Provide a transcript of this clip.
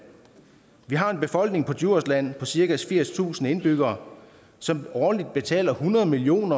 vi har en befolkning på djursland på cirka firstusind indbyggere som årligt betaler hundrede million